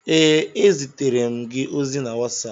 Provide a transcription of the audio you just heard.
Ee, ezitere m gị ozi na WhatsApp.